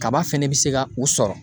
Kaba fɛnɛ bɛ se ka u sɔrɔ